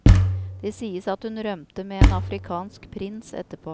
Det sies at hun rømte med en afrikansk prins etterpå.